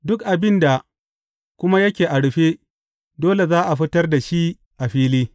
Duk abin da kuma yake a rufe, dole za a fitar da shi a fili.